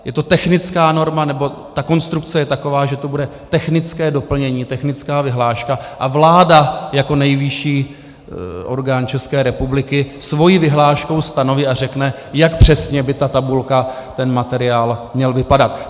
Je to technická norma, nebo ta konstrukce je taková, že to bude technické doplnění, technická vyhláška, a vláda jako nejvyšší orgán České republikou svou vyhláškou stanoví a řekne, jak přesně by ta tabulka, ten materiál měl vypadat.